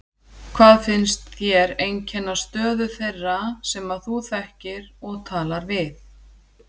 Hvað finnst þér einkenna stöðu þeirra sem að þú þekkir og talar við?